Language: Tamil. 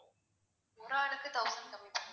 ஒரு ஆளுக்கு thousand கம்மி பண்ணுவோம்.